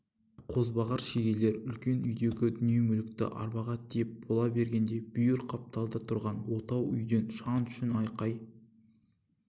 қозбағар шегелер үлкен үйіндегі дүние-мүлікті арбаға тиеп бола бергенде бүйір қапталда түрған отау үйден шаң-шүң айқай